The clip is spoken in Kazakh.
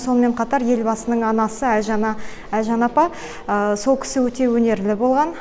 сонымен қатар елбасының анасы әлжан әлжан апа сол кісі өте өнерлі болған